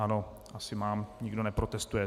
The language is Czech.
Ano, asi mám, nikdo neprotestuje.